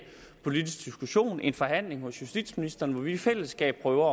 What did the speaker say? politisk diskussion en forhandling hos justitsministeren hvor vi i fællesskab prøver